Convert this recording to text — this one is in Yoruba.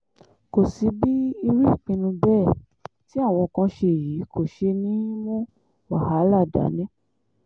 kò sí bí irú ìpinnu bẹ́ẹ̀ tí àwọn kan ṣe yìí kò ṣe ní í mú wàhálà dání